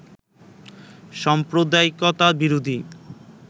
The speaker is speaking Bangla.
সাম্প্রদায়িকতা বিরোধী